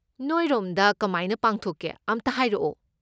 ꯅꯣꯏꯔꯣꯝꯗ ꯀꯃꯥꯏꯅ ꯄꯥꯡꯊꯣꯛꯀꯦ ꯑꯝꯇ ꯍꯥꯏꯔꯛꯑꯣ꯫